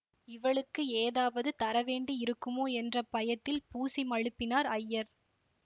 இவளுக்கு ஏதாவது தரவேண்டி இருக்குமோ என்ற பயத்தில் பூசி மழுப்பினார் ஐயர்